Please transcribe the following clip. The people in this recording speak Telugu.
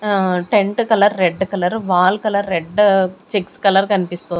ఆ tent colour red colour wall colour red checks colour కన్పిస్తూ--